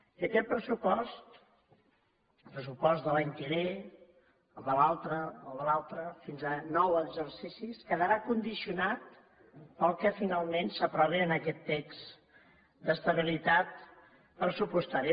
i aquest pressupost el pressupost de l’any que ve el de l’altre el de l’altre fins a nou exercicis quedarà condicionat pel que finalment s’aprovi en aquest text d’estabilitat pressupostària